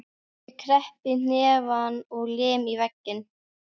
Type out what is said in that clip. Ég kreppi hnefann og lem í vegginn.